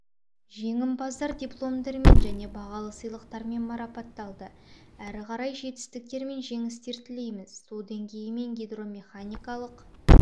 жеңімпаздар дипломдармен және бағалы сыйлықтармен марапатталды әрі қарай жетістіктер мен жеңістер тілейміз су деңгейі мен гидромеханикалық